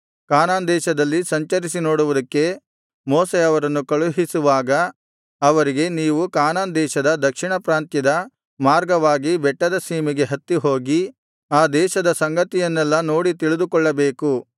ಕಾನಾನ್ ದೇಶದಲ್ಲಿ ಸಂಚರಿಸಿ ನೋಡುವುದಕ್ಕೆ ಮೋಶೆ ಅವರನ್ನು ಕಳುಹಿಸುವಾಗ ಅವರಿಗೆ ನೀವು ಕಾನಾನ್ ದೇಶದ ದಕ್ಷಿಣ ಪ್ರಾಂತ್ಯದ ಮಾರ್ಗವಾಗಿ ಬೆಟ್ಟದ ಸೀಮೆಗೆ ಹತ್ತಿಹೋಗಿ ಆ ದೇಶದ ಸಂಗತಿಯನ್ನೆಲ್ಲಾ ನೋಡಿ ತಿಳಿದುಕೊಳ್ಳಬೇಕು